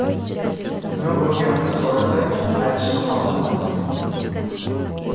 Nima bo‘lganini so‘rasak, aytishni xohlamadi.